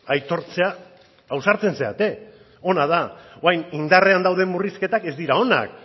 aitortzea ausartzen zarete ona da orain indarrean dauden murrizketak ez dira onak